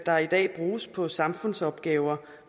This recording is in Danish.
der i dag bruges på samfundsopgaver